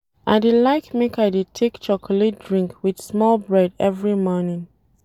I dey like make I dey take chocolate drink wit small bread every morning.